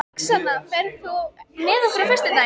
Roxanna, ferð þú með okkur á föstudaginn?